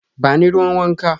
Ba ni ruwan wanka.